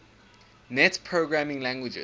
net programming languages